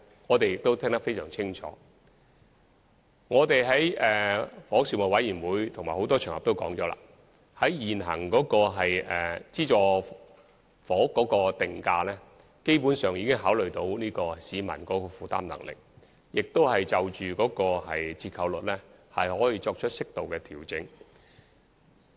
我們在房屋事務委員會會議及很多場合中均已指出，現行的資助房屋定價機制基本上已考慮了市民的負擔能力，亦可就折扣率作出適度的調整。